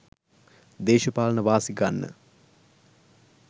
දේශපාලන වාසි ගන්න